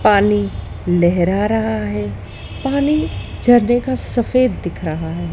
पानी लहरा रहा है पानी झरने का सफेद दिख रहा है।